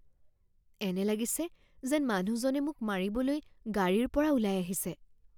এনে লাগিছে যেন মানুহজনে মোক মাৰিবলৈ গাড়ীৰ পৰা ওলাই আহিছে